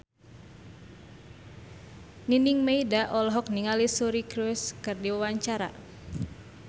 Nining Meida olohok ningali Suri Cruise keur diwawancara